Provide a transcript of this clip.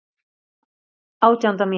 Átjánda mínúta.